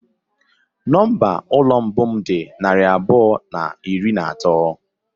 Nọmba ụlọ mbụ m dị narị abụọ na iri na atọ.